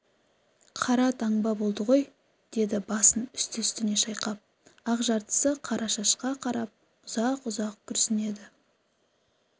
қара таңба болды ғой деді басын үсті-үстіне шайқап ақ жартысы қара шашқа қарап ұзақ-ұзақ күрсінеді